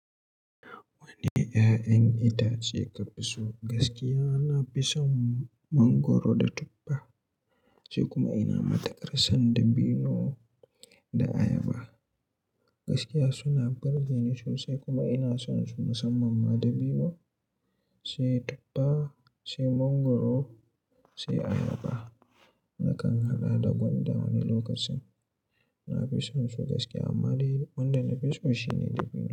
Wane 'ya'yan itace ka fi so? Gaskiya, ina fison mangwaro da tuffa sai kuma ina matiƙarsan dabino da ayaba. Gaskiya suna burge ni sosai kuma ina son su musamman ma dabino, sai tuffa, sai mangwaro, sai ayaba. Nakan haɗa da gwandan wani lokacin. Na fi son su gaskiya amma dai wanda nafi so shine dabino.